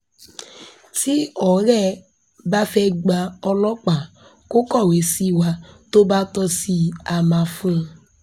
tí ọ̀rẹ́ ẹ bá fẹ́ẹ́ gba ọlọ́pàá kó kọ̀wé sí wa tó bá tọ́ sí i á máa fún un